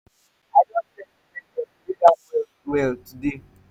i don set in ten tion to read am well well today.